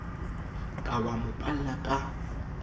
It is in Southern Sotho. ka wa mo palla ka